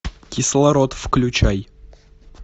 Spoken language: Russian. кислород включай